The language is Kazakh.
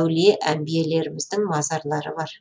әулие әмбиелеріміздің мазарлары бар